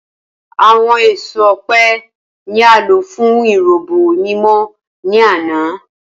Awọn eso ọpẹ ni a lo fun irubo mimọ ni ana.